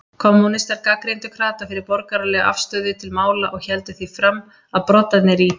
Kommúnistar gagnrýndu krata fyrir borgaralega afstöðu til mála og héldu því fram, að broddarnir í